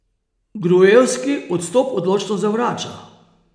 Gruevski odstop odločno zavrača.